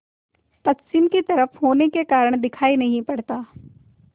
पश्चिम की तरफ होने के कारण दिखाई नहीं पड़ता